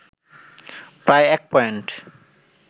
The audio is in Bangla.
প্রায় ১ পয়েন্ট